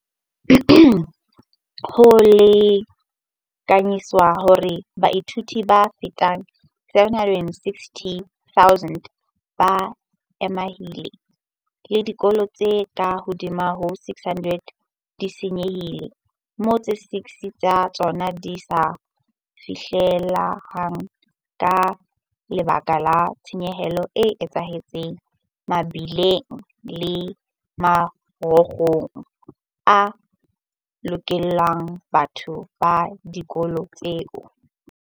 Ho lekanyetswa hore baithuti ba fetang 270 000 ba amehile, le dikolo tse ka hodimo ho 600 di se nyehile, moo tse 16 tsa tsona di sa fihlelleheng ka lebaka la tshenyo e etsahetseng mebileng le marokgong a hokelang batho le dikolo tsena.